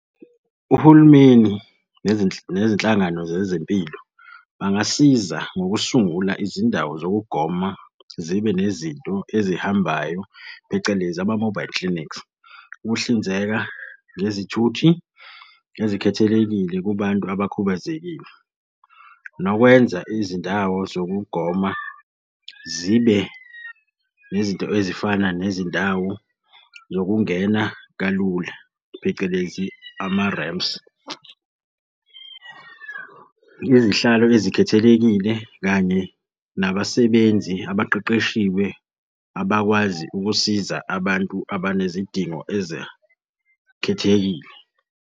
Uhulumeni nezinhlangano zezempilo bangasiza ngokusungula izindawo zokugoma zibe nezinto ezihambayo phecelezi ama-mobile clinics. Ukuhlinzeka ngezithuthi ezikhethelekile kubantu abakhubazekile. Nokwenza izindawo zokugoma zibe nezinto ezifana nezindawo zokungena kalula, phecelezi ama-ramps. Izihlalo ezikhethelekile kanye nabasebenzi abaqeqeshiwe abakwazi ukusiza abantu abanezidingo ezakhethekile.